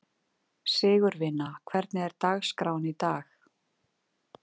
Sigurvina, hvernig er dagskráin í dag?